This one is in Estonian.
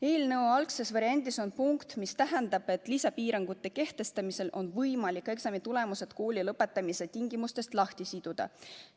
Eelnõu algses variandis on punkt, mis ütleb, et lisapiirangute kehtestamisel on võimalik eksamitulemused kooli lõpetamise tingimustest lahti siduda.